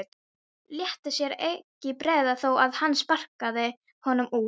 Léti sér ekki bregða þó að hann sparkaði honum út.